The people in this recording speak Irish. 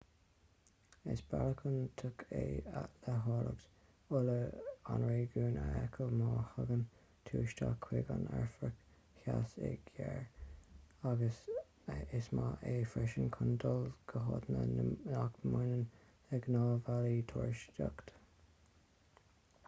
is bealach iontach é le háilleacht uile an réigiúin a fheiceáil má thagann tú isteach chuig an afraic-theas i gcarr agus is maith é sin freisin chun dul go háiteanna nach mbaineann le gnáth-bhealaí turasóireachta